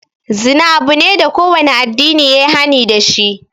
Zina abu ne da kowane addini yayi hani dashi.